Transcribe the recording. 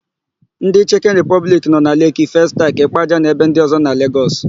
Ndị Chịkịn Ripọbliki nọ na Leeki, Festakị, Ịkpaja na ebe ndị ọ̀zọ́ na Legọs.